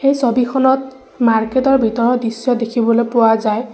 এই ছবিখনত মাৰ্কেট ৰ ভিতৰৰ দৃশ্য দেখিবলৈ পোৱা যায়।